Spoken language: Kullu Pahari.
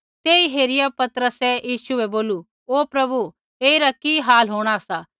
तेई हेरिया पतरसै यीशु बै बोलू ओ प्रभु ऐईरा कि हाल होंणा सा